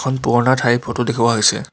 এখন পুৰণা ঠাইৰ ফটো দেখুওৱা হৈছে.